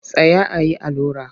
Tsaya a yi allura!